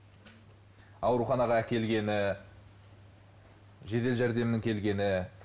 ауруханаға әкелгені жедел жәрдемнің келгені